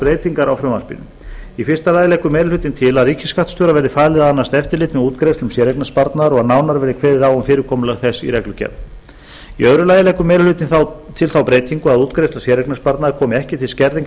breytingar á frumvarpinu fyrstu meiri hlutinn leggur til að ríkisskattstjóra verði falið að annast eftirlit með útgreiðslum séreignarsparnaðar og að nánar verði kveðið á um fyrirkomulag þess í reglugerð öðrum meiri hlutinn leggur til þá breytingu að útgreiðsla séreignarsparnaðar komi ekki til skerðingar á